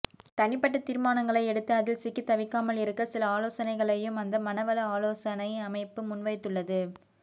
தனிப்பட்ட தீர்மானங்களை எடுத்து அதில் சிக்கி தவிக்காமல் இருக்க சில ஆலோசனைகளையும் அந்த மன வள ஆலோசைனை அமைப்பு முன்வைத்துள்ளது